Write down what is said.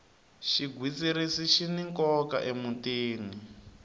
xigwitsirisi xini nkoka emutini